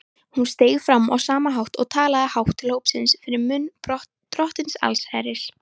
Hún steig fram á sama hátt og talaði hátt til hópsins fyrir munn Drottins allsherjar.